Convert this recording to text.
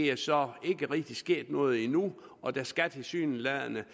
er så ikke rigtig sket noget endnu og der skal tilsyneladende